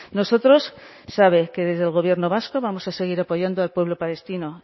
nosotros sabe que desde el gobierno vasco vamos a seguir apoyando al pueblo palestino